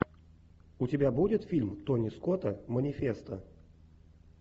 у тебя будет фильм тони скотта манифесто